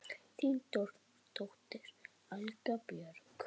Þín dóttir, Agla Björk.